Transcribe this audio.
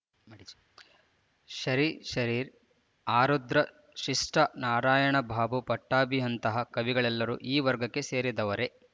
ಶರೀಶರೀ ಆರುದ್ರ ಶಿಷ್ಠಾ ನಾರಾಯಣಬಾಬು ಪಟ್ಟಾಭಿಯಂತಹ ಕವಿಗಳೆಲ್ಲರೂ ಈ ವರ್ಗಕ್ಕೆ ಸೇರಿದವರೇ